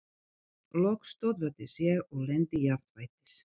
Loks stöðvaðist ég og lenti jafnfætis.